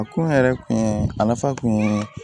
A kun yɛrɛ kun ye a nafa kun ye